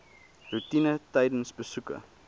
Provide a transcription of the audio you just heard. roetine tydens besoeke